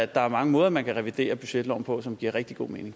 der er mange måder man kan revidere budgetloven på som giver rigtig god mening